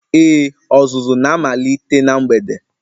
Ee, ọzụzụ na-amalite na mgbede.